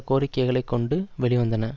கோரிக்கைகளை கொண்டு வெளிவந்தன